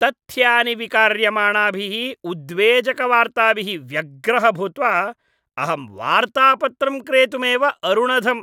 तथ्यानि विकार्यमाणाभिः उद्वेजकवार्ताभिः व्यग्रः भूत्वा अहं वार्तापत्रं क्रेतुमेव अरुणधम्।